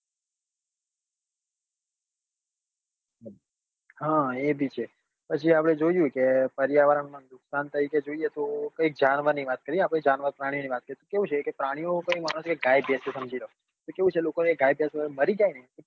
હા એ બી છે પછી આપ્પડે જોઈએ કે પર્યાવરણ માં નુકસાન થાય છે જોઈએ તો કઈ જનાવર ની વાત કરીએ આપડે જાનવર પ્રાણીઓ ની વાત કરીએ તો કેવું છે કે પરની ઓ ની વવત ગાય ભેસો સમજી લો કે કેવું છે લોકો ને ગાય ભેશો મરી જાય ને